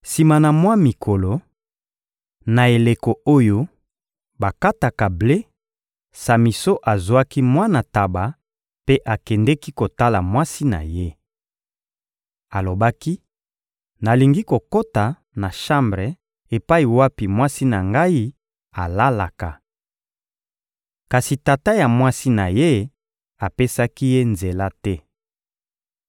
Sima na mwa mikolo, na eleko oyo bakataka ble, Samison azwaki mwana ntaba mpe akendeki kotala mwasi na ye. Alobaki: — Nalingi kokota na shambre epai wapi mwasi na ngai alalaka. Kasi tata ya mwasi na ye apesaki ye nzela te.